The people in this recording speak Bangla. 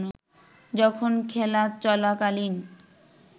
যখন খেলা চলাকালীন